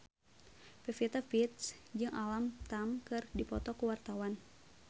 Pevita Pearce jeung Alam Tam keur dipoto ku wartawan